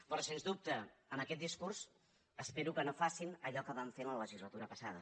però sens dubte amb aquest discurs espero que no facin allò que van fer la legislatura passada